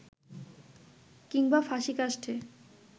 কিংবা ফাঁসীকাষ্ঠে